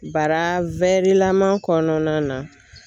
Bara lama kɔnɔna na.